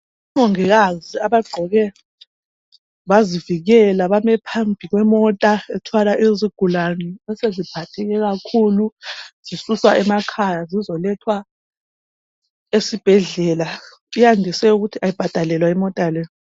Omongikazi abagqoke bazivikela bame phambi kwemota ethwala izigulane eseziphatheke kakhulu zisuswa emakhaya zizolethwa esibhedlela. Kuyandise ukuthi ayibhadalelwa imota le.